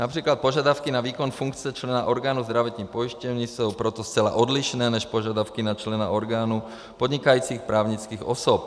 Například požadavky na výkon funkce člena orgánu zdravotní pojišťovny jsou proto zcela odlišné než požadavky na člena orgánu podnikajících právnických osob.